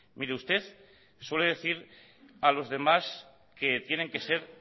mire usted suele decir a los demás que tienen que ser